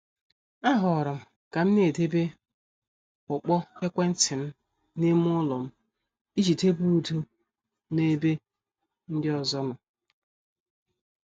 A horom kam na- edebe ukpo ekwentị m n' ime ụlọ m iji debe udo n' ebe ndị ọzọ nọ.